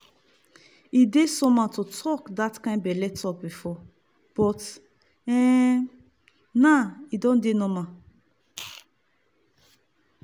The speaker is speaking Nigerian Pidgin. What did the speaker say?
e dey somehow to talk that kind belle talk before but um now e don dey normal.